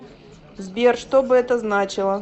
сбер что бы это значило